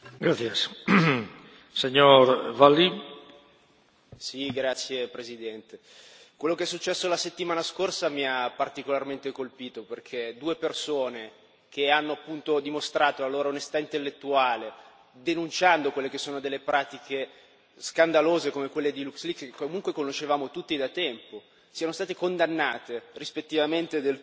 Signor Presidente, onorevoli colleghi, quello che è successo la settimana scorsa mi ha particolarmente colpito, perché due persone che hanno dimostrato la loro onestà intellettuale, denunciando quelle che sono delle pratiche scandalose come quelle di che comunque conoscevamo tutti da tempo, siano stati condannate, rispettivamente